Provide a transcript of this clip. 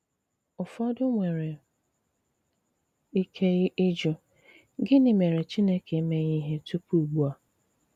Ùfọdụ nwere ike ịjụ: ‘Gịnị mèré Chìnékè emeghị ihe tupu ùgbu a?’